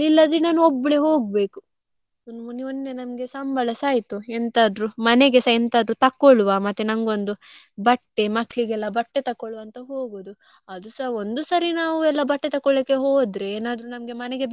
ಒಬ್ಬಳೇ ಹೋಗ್ಬೇಕು ಮೊನ್ನ~ ಮೊನ್ನೆ ನನ್ಗೆ ಸಂಬಳಸ ಆಯ್ತು ಎಂತಾದ್ರು ಮನೆಗೆಸ ಎಂತಾದ್ರು ತಕ್ಕೊಳ್ಳುವ. ಮತ್ತೆ ನಂಗೊಂದು ಬಟ್ಟೆ, ಮಕ್ಳಿಗೆಲ್ಲ ಬಟ್ಟೆ ತಕೋಳ್ವ ಅಂತ ಹೋಗುದು. ಅದುಸ ಒಂದು ಸರಿ ನಾವು ಎಲ್ಲ ಬಟ್ಟೆ ತಕ್ಕೊಳ್ಲಿಕ್ಕೆ ಹೋದ್ರೆ ಏನಾದ್ರೂ ನಮ್ಗೆ ಮನೆಗೆ ಬೇಕಾದದ್ದು ತಕ್ಕೊಳ್ಳಿಕೆ ಹೋದ್ರೆ.